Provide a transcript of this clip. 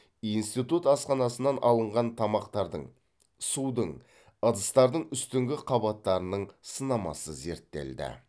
институт асханасынан алынған тамақтардың судың ыдыстардың үстіңгі қабаттарының сынамасы зерттелді